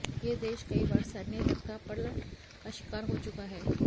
यह देश कई बार सैन्य तख्तापटल का शिकार हो चुका है